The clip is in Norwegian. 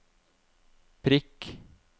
prikk